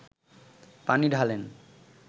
পানি ঢালেন